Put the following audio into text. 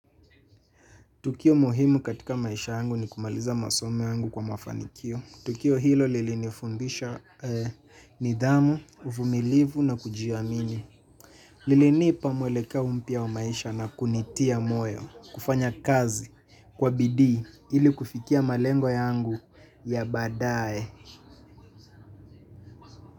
Tukio muhimu katika maisha yangu ni kumaliza masomo yangu kwa mafanikio. Tukio hilo lilinifumbisha nidhamu, uvumilivu na kujiaamini. Lilinipa mwelekeo mpya wa maisha na kunitia moyo, kufanya kazi, kwa bidii, ili kufikia malengo yangu ya baadaye.